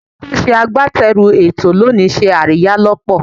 Ẹni tí ó ṣe agbátẹrù ètò lónìí ṣe àríyá lọ́pọ̀.